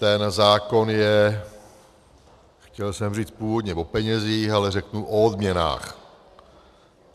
Ten zákon je - chtěl jsem říct původně o penězích, ale řeknu o odměnách.